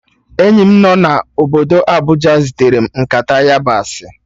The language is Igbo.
Enyi m nọ obodo Abuja zitere m nkata yabasị